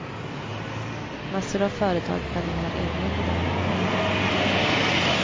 Massor av företag planerar egna modeller. punkt